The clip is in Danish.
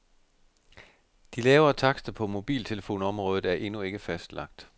De lavere takster på mobiltelefonområdet er endnu ikke fastlagt.